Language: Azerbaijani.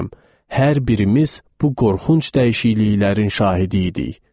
Hər birimiz bu qorxunc dəyişikliklərin şahidi idik.